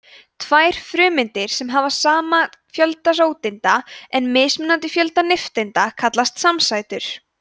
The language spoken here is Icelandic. tvær frumeindir sem hafa sama fjölda róteinda en mismunandi fjölda nifteinda kallast samsætur